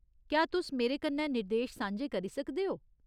क्या तुस मेरे कन्नै निर्देश सांझे करी सकदे ओ ?